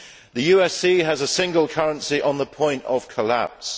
The USE has a single currency on the point of collapse.